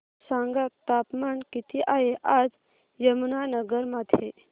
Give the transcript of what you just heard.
सांगा तापमान किती आहे आज यमुनानगर मध्ये